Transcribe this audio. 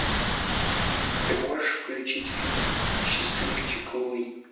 ты можешь включить фильм счастливчик луи